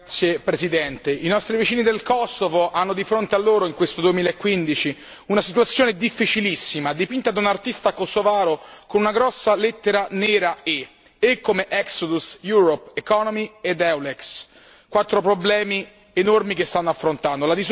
Signora Presidente, onorevoli colleghi, i nostri vicini del Kosovo hanno di fronte a loro in questo 2015 una situazione difficilissima, dipinta da un artista kosovaro con una grossa lettera E nera E come esodo, Europa, economia ed Eulex, quattro problemi enormi che stanno affrontando.